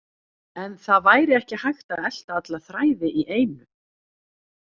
En það væri ekki hægt að elta alla þræði í einu.